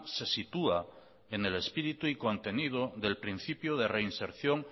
se sitúa en el espíritu y contenido del principio de reinserción